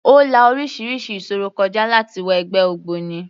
Ó la orísirísi ìṣòro kọ já láti wọ ẹgbẹ́ ògbóni.